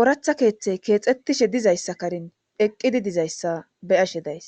ooratha keeththey keexxettishe dizayssa karen eqqidi dizayssa beyashe days.